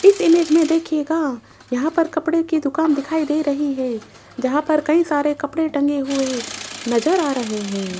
इस इमेज में देखिएगा यहां पर कपड़े की दुकान दिखाई दे रही है जहां पर कई सारे कपड़े टंगे हुए नजर आ रहे है।